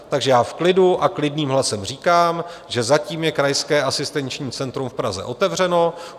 Takže já v klidu a klidným hlasem říkám, že zatím je Krajské asistenční centrum v Praze otevřeno.